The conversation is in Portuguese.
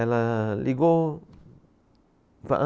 Ela ligou.